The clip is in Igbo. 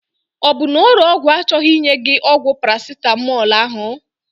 Ọ bụ na ore ọgwụ achọghị inye gị ọgwụ Paracetamol ahụ?